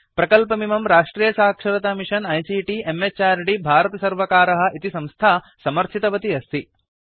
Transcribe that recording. प्रकल्पमिमं राष्ट्रियसाक्षरतामिषन आईसीटी म्हृद् भारतसर्वकारः इति संस्था समर्थितवती अस्ति